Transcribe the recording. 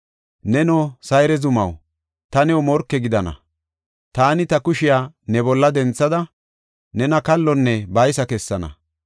‘Neno, Sayre zumaw, ta new morke gidana; taani ta kushiya ne bolla denthada, nena kallonne baysa kessana.